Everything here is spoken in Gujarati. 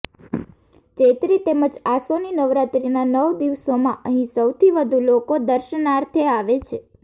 ચૈત્રી તેમજ આસોની નવરાત્રિના નવ દિવસોમાં અહીં સૌથી વધુ લોકો દર્શનાર્થે આવે છે